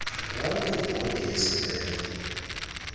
waloo bhodi yesibheno